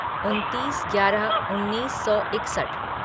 उनतीस ग्यारह उन्नीस सौ इकसठ